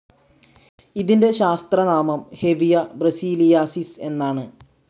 ഇതിന്റെ ശാസ്ത്ര നാമം ഹെവിയ ബ്രസീലിയാസിസ് എന്നാണ്.